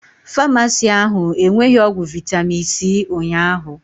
Famasi ahụ enweghi ọgwụ vitami c ụnyaahụ